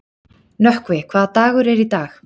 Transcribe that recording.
Nökkvi, hvaða dagur er í dag?